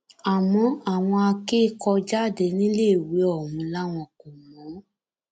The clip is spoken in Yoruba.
àmọ àwọn akẹkọọjáde níléèwé ọhún làwọn kò mọ ọn